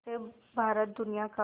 से भारत दुनिया का